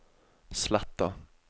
Sletta